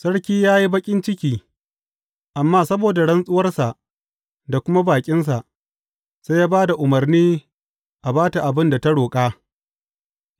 Sarki ya yi baƙin ciki, amma saboda rantsuwarsa da kuma baƙinsa, sai ya ba da umarni a ba ta abin da ta roƙa